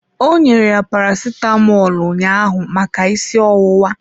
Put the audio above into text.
Ọ nyere ya Paracetamọl ụnyaahụ maka ịsị ọwụwa.